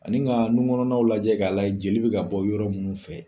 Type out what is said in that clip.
Ani ka nunkɔnɔnaw lajɛ k'a la yɛ jeli bɛ ka bɔ yɔrɔ minnu fɛ.